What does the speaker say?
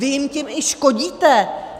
Vy jim tím i škodíte.